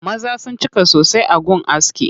Maza sun cika sosai a gun askin.